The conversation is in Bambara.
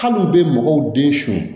Hali u bɛ mɔgɔw den suɲɛ